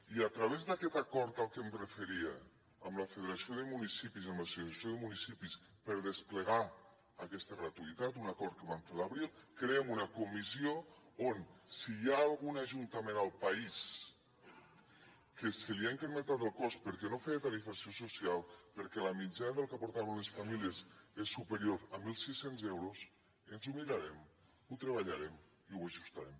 i a través d’aquest acord al que em referia amb la federació de municipis amb l’associació de municipis per desplegar aquesta gratuïtat un acord que vam fer a l’abril creem una comissió on si hi ha algun ajuntament al país que se li ha incrementat el cost perquè no feia tarifació social perquè la mitjana del que aportaven les famílies és superior a mil sis cents euros ens ho mirarem ho treballarem i ho ajustarem